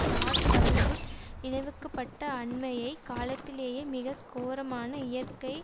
George W Bush நினைவுக்கு பட்ட அண்மைய காலத்திலேயே மிக கோரமான இயற்கை